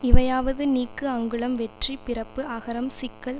இவையாவது நீக்கு அங்குளம் வெற்றி பிறப்பு அகரம் சிக்கல்